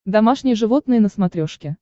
домашние животные на смотрешке